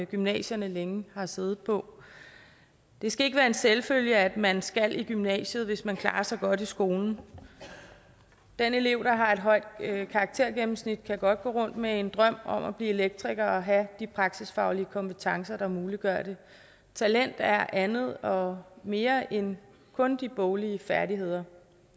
gymnasierne længe har siddet på det skal ikke være en selvfølge at man skal i gymnasiet hvis man klarer sig godt i skolen den elev der har et højt karaktergennemsnit kan godt gå rundt med en drøm om at blive elektriker og have de praktiskfaglige kompetencer der muliggør det talent er andet og mere end kun de boglige færdigheder